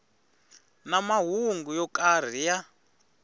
na mahungu yo karhi ya